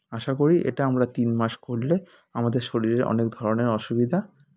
আশা করি এটা আমরা তিন মাস করলে আমাদের শরীরের অনেক ধরনের অসুবিধা